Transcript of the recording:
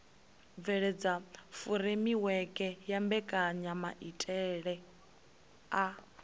bveledza furemiweke ya mbekanyamaitele a